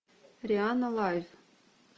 рианна лайв